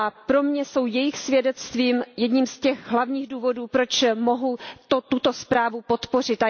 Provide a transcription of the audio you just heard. Pro mě jsou jejich svědectví jedním z těch hlavních důvodů, proč mohu toto usnesení podpořit.